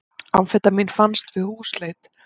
Amfetamín fannst við húsleit